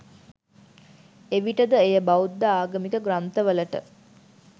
එවිට ද එය බෞද්ධ ආගමික ග්‍රන්ථවලට